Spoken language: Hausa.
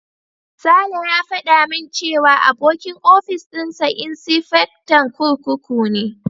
Sale ya faɗa min cewa abokin ofis dinsa insifectan kurkuku ne.